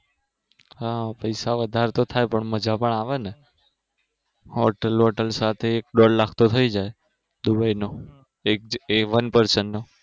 હા પૈસા વધાર થાય પણ મજા તો આવે ને હાલ તો hotel સાથે એક દોઢ લાખ તો થયી જાય દુબઈનો એ અમેરિકા નો